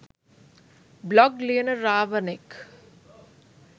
blog ලියන රාවනෙක්